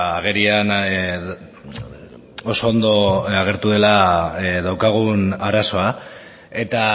agerian oso ondo agertu dela daukagun arazoa eta